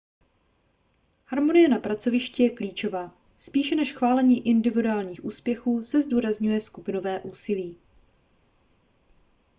harmonie na pracovišti je klíčová spíše než chválení individuálních úspěchů se zdůrazňuje skupinové úsilí